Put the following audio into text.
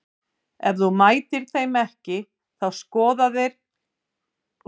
Ef þú mætir þeim ekki þá skora þeir fullt af mörkum á þig.